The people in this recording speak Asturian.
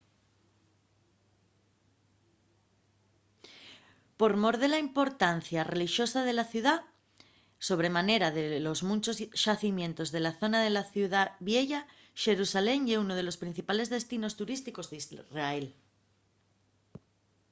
por mor de la importancia relixosa de la ciudá sobre manera de los munchos xacimientos de la zona de la ciudá vieya xerusalén ye unu de los principales destinos turísticos d’israel